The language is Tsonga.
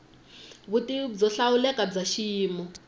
vutivi byo hlawuleka bya xiyimo